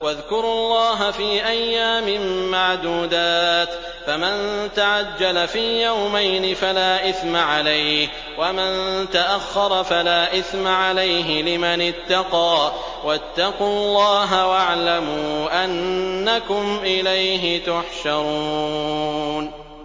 ۞ وَاذْكُرُوا اللَّهَ فِي أَيَّامٍ مَّعْدُودَاتٍ ۚ فَمَن تَعَجَّلَ فِي يَوْمَيْنِ فَلَا إِثْمَ عَلَيْهِ وَمَن تَأَخَّرَ فَلَا إِثْمَ عَلَيْهِ ۚ لِمَنِ اتَّقَىٰ ۗ وَاتَّقُوا اللَّهَ وَاعْلَمُوا أَنَّكُمْ إِلَيْهِ تُحْشَرُونَ